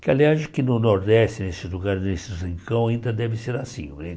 Que, aliás, que no Nordeste, nesse lugar, nesse, ainda deve ser assim não é.